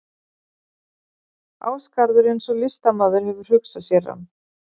Ásgarður eins og listamaður hefur hugsað sér hann.